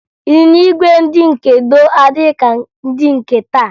Ịnyịnya ígwè ndị nke gboo adịghị ka ndị nke taa